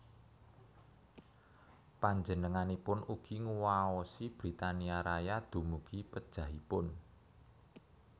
Panjenenganipun ugi nguwaosi Britania Raya dumugi pejahipun